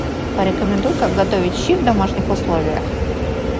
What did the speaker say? порекомендуй как готовить щи в домашних условиях